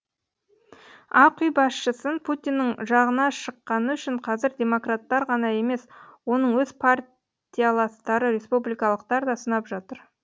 ақ үй басшысын путиннің жағына шыққаны үшін қазір демократтар ғана емес оның өз партияластары республикалықтар да сынап жатыр